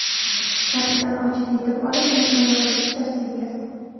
Karkidon ovchiga yetib olib, uning oyog‘iga shikast yetkazdi.